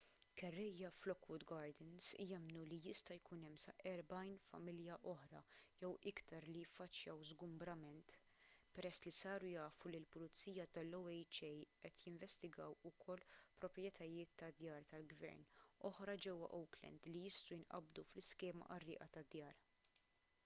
kerrejja f'lockwood gardens jemmnu li jista' jkun hemm sa 40 familja oħra jew iktar li jiffaċċjaw żgumbrament peress li saru jafu li l-pulizija tal-oha qed jinvestigaw ukoll proprjetajiet ta' djar tal-gvern oħra ġewwa oakland li jistgħu jinqabdu fl-iskema qarrieqa tad-djar